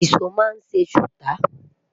ìsọ má n se suta